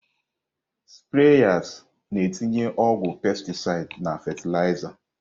Spreyas na-etinye ọgwụ pestisid na fatịlaịza.